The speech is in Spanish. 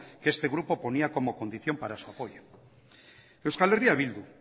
que este grupo ponía como condición para su apoyo euskal herria bildu